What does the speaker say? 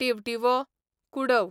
टिवटिवो, Kudav